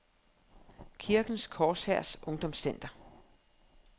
Kirkens Korshærs Ungdomscenter